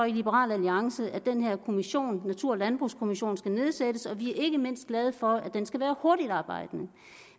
i liberal alliance at den her kommission altså natur og landbrugskommissionen skal nedsættes og vi er ikke mindst glade for at den skal være hurtigtarbejdende